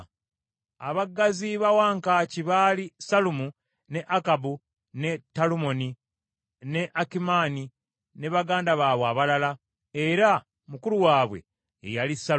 Abaggazi ba wankaaki baali, Sallumu, ne Akabu, ne Talumoni, ne Akimaani ne baganda baabwe abalala, era mukulu waabwe ye yali Sallumu;